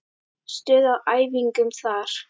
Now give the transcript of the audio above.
Stuð á æfingum þar!